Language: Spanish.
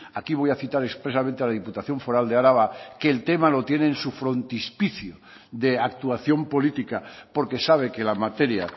aquí voy a citar expresamente a la diputación foral de araba que el tema lo tiene en su frontispicio de actuación política porque sabe que la materia